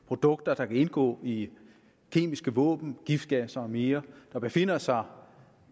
produkter der kan indgå i kemiske våben giftgasser og mere der befinder sig